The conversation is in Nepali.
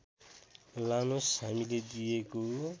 लानोस् हामीले दिएको